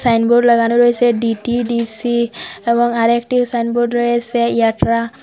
Signboard লাগানো রয়েসে DTDC এবং আরেকটিও সাইনবোর্ড রয়েসে ইয়াট্রা।